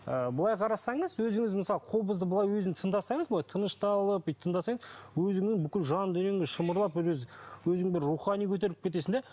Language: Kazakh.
ы былай қарасаңыз өзіңіз мысалы қобызды былай өзін тыңдасаңыз былай тынышталып бүйтіп тыңдасаңыз өзіңнің бір жандүниеңіз шымырлап өзің бір рухани көтеріліп кетесің де